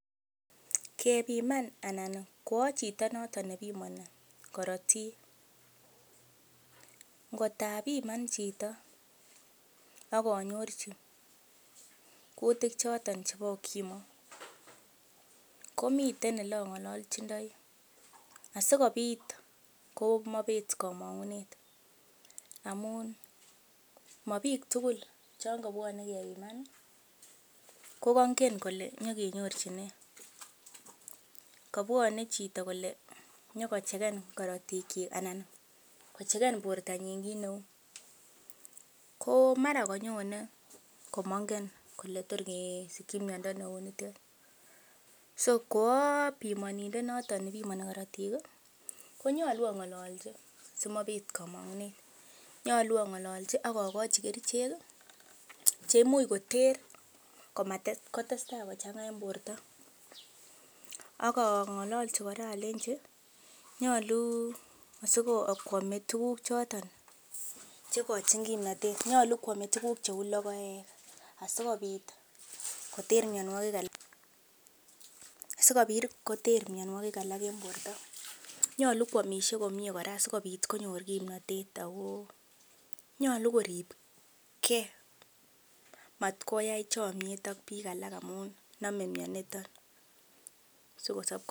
Kebiman anan koa chitonoto nebimoni korotik, ngot abiman chito ak anyorji kutik choto chebo UKIMWI komiten ole ang'olochindoi asikobit komaibet komong'unet amun ma biik tugul chon kobwone kenyokebiman kogoingen kole nyokenyorjin. Kobwone chito kole konyokechecken korotikyik anan kochecken bortanyin kit neu. Ko mara konyune kamngen kole tor kesikin miando neu nitet. So ko a pimonindet noto pimoni korotik konyolu ang'ololji simabet komong'unet. Nyolu ang'ololji ak ogochi kerichek che imuch koter komatestai kochang'a en borto. Ak ang'ololji kora alenji nyolu koame tuguk choto che igochin kimnatet. Nyolu koame tuguk cheu logoek, asikobit koter mianwogik alak en borto. Nyolu koamishe komye kora sikobit konyor kimnatet ago nyolu koribge matkoyai chomyet ak biik alak amun nome mianito.